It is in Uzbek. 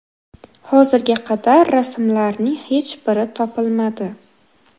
Hozirga qadar rasmlarning hech biri topilmadi.